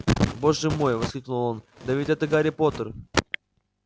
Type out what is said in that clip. боже мой воскликнул он да ведь это гарри поттер